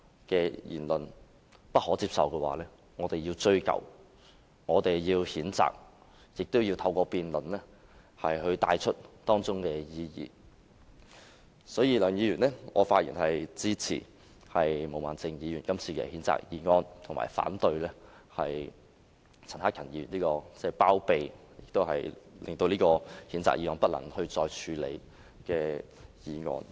如果言論不可接受，我們便要追究和譴責，透過辯論帶出當中的意義。所以，梁議員，我發言支持毛孟靜議員今次的譴責議案，反對陳克勤議員這項包庇何議員、令譴責議案不能再作處理的議案。